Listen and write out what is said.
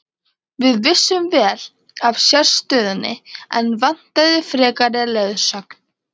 Við vissum vel af sérstöðunni en vantaði frekari leiðsögn.